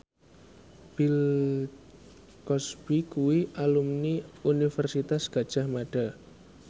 Bill Cosby kuwi alumni Universitas Gadjah Mada